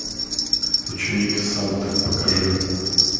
ученик санты покажи